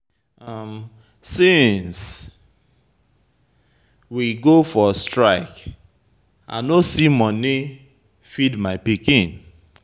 Since we go for strike, I no see money feed my pikin.